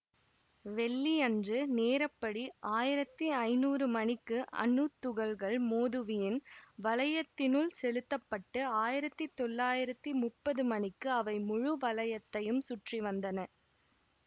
வெள்ளியன்று நேரப்படி ஆயிரத்தி ஐநூறு மணிக்கு அணுத்துகள்கள் மோதுவியின் வளையத்தினுள் செலுத்த பட்டு ஆயிரத்தி தொள்ளாயிரத்தி முப்பது மணிக்கு அவை முழு வளையத்தையும் சுற்றி வந்தன